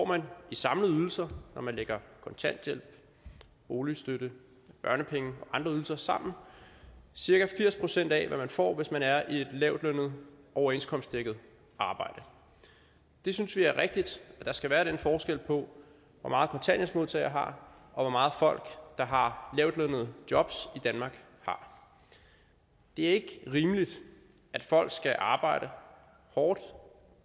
man i samlede ydelser når man lægger kontanthjælp boligstøtte børnepenge og andre ydelser sammen cirka firs procent af hvad man får hvis man er i et lavtlønnet overenskomstdækket arbejde vi synes det er rigtigt at der skal være den forskel på hvor meget kontanthjælpsmodtagere har og hvor meget folk der har lavtlønnede jobs i danmark har det er ikke rimeligt at folk skal arbejde hårdt